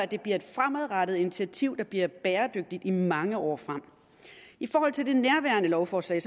det bliver et fremadrettet initiativ der bliver bæredygtigt i mange år frem i forhold til nærværende lovforslag